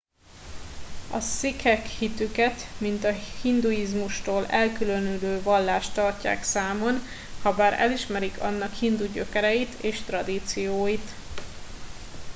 a szikhek hitüket mint a hinduizmustól elkülönülő vallást tartják számon habár elismerik annak hindu gyökereit és tradícióit